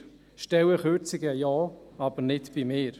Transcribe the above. Stellenkürzungen ja, aber nicht bei mir.